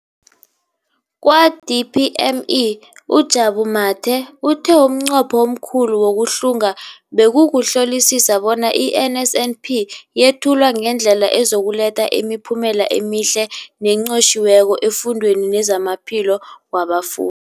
Kwa-DPME, uJabu Mathe, uthe umnqopho omkhulu wokuhlunga bekukuhlolisisa bona i-NSNP yethulwa ngendlela ezokuletha imiphumela emihle nenqotjhiweko efundweni nezamaphilo wabafu